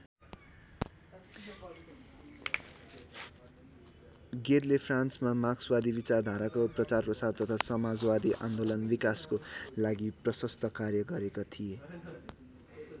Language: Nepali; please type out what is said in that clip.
गेदले फ्रान्समा मार्क्सवादी विचारधाराको प्रचारप्रसार तथा समाजवादी आन्दोलन्को विकासको लागि प्रशस्त कार्य गरेका थिए।